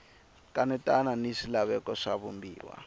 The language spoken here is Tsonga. kanetana ni swilaveko swa vumbiwa